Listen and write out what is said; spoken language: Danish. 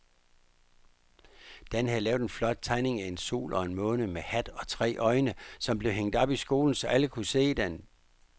Dan havde lavet en flot tegning af en sol og en måne med hat og tre øjne, som blev hængt op i skolen, så alle kunne se den.